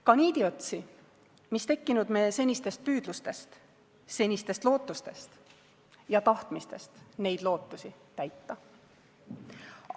Ka niidiotsi, mis tekkinud me senistest püüdlustest, senistest lootustest ja tahtmisest neid lootusi täita.